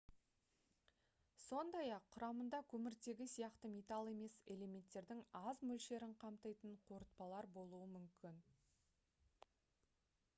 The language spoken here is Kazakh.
сондай-ақ құрамында көміртегі сияқты металл емес элементтердің аз мөлшерін қамтитын қорытпалар болуы мүмкін